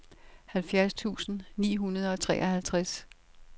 halvfjerds tusind ni hundrede og treoghalvtreds